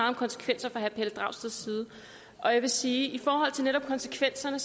om konsekvenser fra herre pelle dragsteds side og jeg vil sige at i forhold til netop konsekvenserne